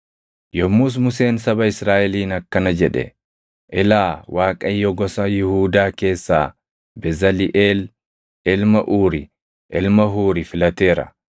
Yommus Museen saba Israaʼeliin akkana jedhe; “Ilaa Waaqayyo gosa Yihuudaa keessaa Bezaliʼeel ilma Uuri ilma Huuri filateera;